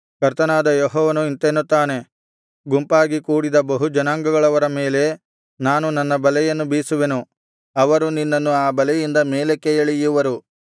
ಕರ್ತನಾದ ಯೆಹೋವನು ಇಂತೆನ್ನುತ್ತಾನೆ ಗುಂಪಾಗಿ ಕೂಡಿದ ಬಹು ಜನಾಂಗಗಳವರ ಮೇಲೆ ನಾನು ನನ್ನ ಬಲೆಯನ್ನು ಬೀಸುವೆನು ಅವರು ನಿನ್ನನ್ನು ಆ ಬಲೆಯಿಂದ ಮೇಲಕ್ಕೆ ಎಳೆಯುವರು